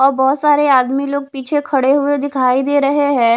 और बहुत सारे आदमी लोग पीछे खड़े हुए दिखाई दे रहे हैं।